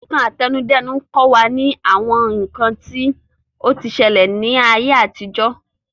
Ìtàn àtẹnudẹ́nu kọ́ wa ní àwọn nǹkan tí o ti ṣẹlẹ̀ ní ayé àtijó